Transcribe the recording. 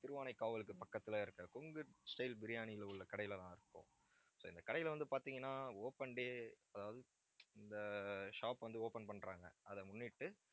திருவானைக்காவலுக்கு பக்கத்துல இருக்கிற கொங்கு stylebiryani யில உள்ள கடையிலதான் இருக்கோம். so இந்த கடையில வந்து பார்த்தீங்கன்னா open day அதாவது இந்த ஆஹ் shop வந்து, open பண்றாங்க அதை முன்னிட்டு